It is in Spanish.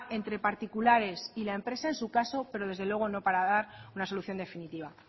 entre particulares y la empresa en su caso pero desde luego no para dar una solución definitiva